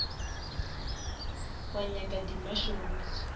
wa nyaka di mushrooms